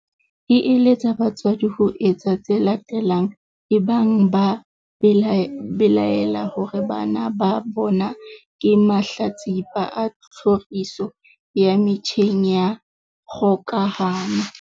E eletsa batswadi ho etsa tse latelang ebang ba belaela hore bana ba bona ke mahlatsipa a tlhoriso ya metjheng ya kgokahano.